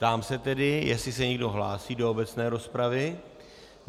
Ptám se tedy, jestli se někdo hlásí do obecné rozpravy.